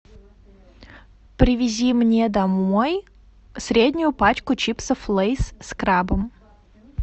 привези мне домой среднюю пачку чипсов лейс с крабом